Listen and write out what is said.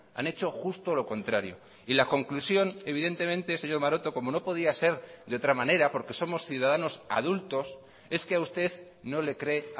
han hecho justo lo contrario y la conclusión evidentemente señor maroto como no podía ser de otra manera porque somos ciudadanos adultos es que a usted no le cree